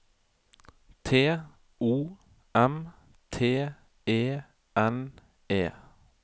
T O M T E N E